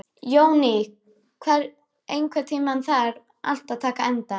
Jóný, einhvern tímann þarf allt að taka enda.